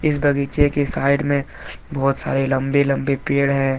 इस बगीचे के साइड में बहुत सारे लंबे लंबे पेड़ हैं।